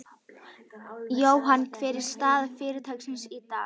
Jóhann, hver er staða fyrirtækisins í dag?